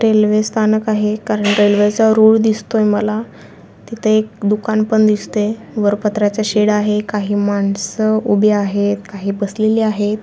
रेल्वेस्थानक आहे कारण रेल्वेच रूळ दिसतोय मला तिथं एक दुकान पण दिसतेय वर पत्र्याचं शेड आहे काही माणसं उभी आहेत काही बसलेली आहेत.